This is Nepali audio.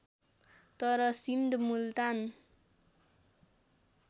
तर सिन्ध मुल्तान